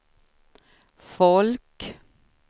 folk